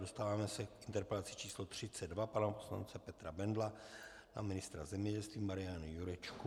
Dostáváme se k interpelaci číslo 32 pana poslance Petra Bendla na ministra zemědělství Mariana Jurečku.